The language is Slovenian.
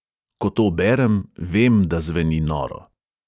Ko to berem, vem, da zveni noro.